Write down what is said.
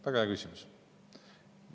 Väga hea küsimus.